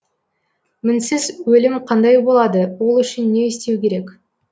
мінсіз өлім қандай болады ол үшін не істеу керек